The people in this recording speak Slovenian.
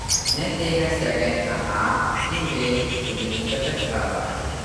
Ne, tega si agenta A in B tudi nista predstavljala.